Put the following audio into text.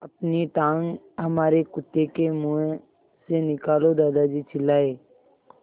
अपनी टाँग हमारे कुत्ते के मुँह से निकालो दादाजी चिल्लाए